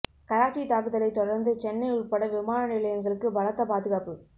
கராச்சி தாக்குதலை தொடர்ந்து சென்னை உட்பட விமான நிலையங்களுக்கு பலத்த பாதுகாப்பு